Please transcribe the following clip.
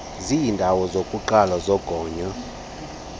zeendawo zokuqala zogonyo